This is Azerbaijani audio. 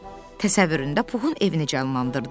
Təsəvvüründə Puxun evini canlandırdı.